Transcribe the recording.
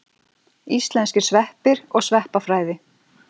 Íslenskir sveppir og sveppafræði.